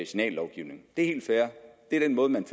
signallovgivning det er helt fair det er den måde man